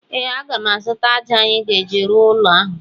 Ee, aga m azụta ájá anyị ga-eji rụọ ụlọ ahụ.